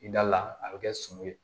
I da la a bɛ kɛ sungo ye